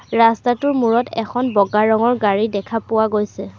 ৰাস্তাটোৰ মূৰত এখন বগা ৰঙৰ গাড়ী দেখা পোৱা গৈছে।